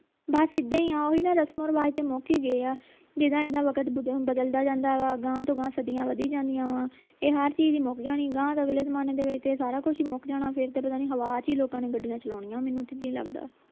ਬਸ ਇੱਦਾਂ ਹੀ ਆ ਉਹ ਵੀ ਰਸਮੋਂ ਰਿਵਾਜ ਤਾਂ ਮੁਕ ਹੀ ਗਏ ਆ ਜਿੱਦਾਂ ਇੱਦਾਂ ਵਕਤ ਬਦਲਦਾ ਜਾਂਦਾ ਵਾ ਗਾਂਹ ਤੋਂ ਗਾਂਹ ਸਦੀਆਂ ਵਧੀ ਜਾਂਦੀਆਂ ਵਾ ਇਹ ਹਰ ਚੀਜ ਹੀ ਮੁਕ ਜਾਣੀ ਗਾਂਹ ਅਗਲੇ ਜਮਾਨੇ ਵਿਚ ਦੇ ਵਿਚ ਤੇ ਸਾਰਾ ਕੁਸ਼ ਹੀ ਮੁਕ ਜਾਣਾ ਫੇਰ ਤੇ ਪਤਾ ਨੀ ਹਵਾ ਚ ਹੀ ਲੋਕਾਂ ਨੇ ਗੱਡੀਆਂ ਚਲਾਉਣੀਆਂ ਮੈਨੂੰ ਤੇ ਇੱਦਾਂ ਹੀ ਲਗਦੇ